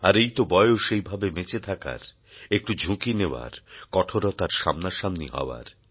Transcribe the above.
আর এই তো বয়স এইভাবে বেঁচে থাকার একটু ঝুঁকি নেওয়ার কঠোরতার সামনাসামনি হওয়ার